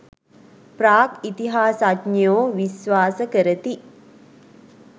ප්‍රාග් ඉතිහාසඥයෝ විශ්වාස කරති